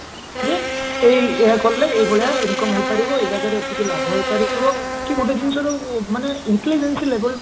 ଯେ ଏଇ ଏଇଆ କାଲେ ଏଇ ଭାଲିଆ income ହେଇପାରିବଏଇ ଜାଗାରେ ଏତିକି ଲାଭ ହେଇପାରିବ କି ଗୋଟେ ଜିନିଷ ଯୋଉ ମାନେ